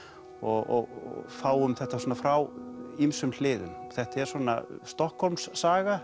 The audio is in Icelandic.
og fáum þetta svona frá ýmsum hliðum þetta er svona